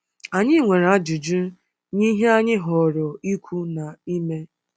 Anyị nwere ajụjụ nye ihe anyị họọrọ ikwu na ime.